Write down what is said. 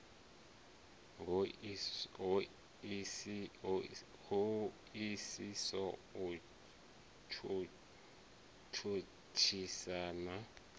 ho isiso u tshutshisa na